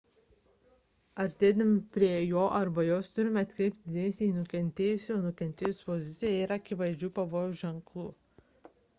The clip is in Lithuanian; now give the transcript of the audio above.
artėdami prie jo arba jos turite atkreipti dėmesį į nukentėjusiojo -sios poziciją jei yra akivaizdžių pavojaus ženklų